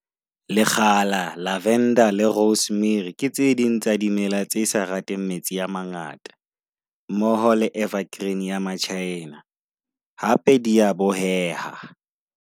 Lekgala, lavender Le rosemary ke tse ding tsa dimela tse sa rateng metsi a mangata. Mmoho le evergreen ya ma-China, hape di a boheha.